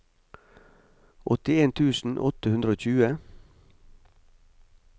åttien tusen åtte hundre og tjue